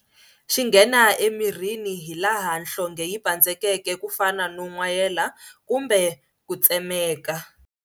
Xi nghena emirini hi laha nhlonhge yi pandzekeke ku fana no n'wayeka kumbe ku tsemeeka.